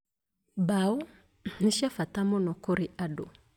Mbaaũ nĩ cia bata mũno kũrĩ andũ